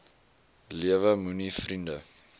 lewe moenie vriende